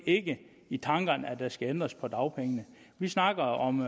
ikke i tankerne at der skal ændres på dagpengene vi snakker om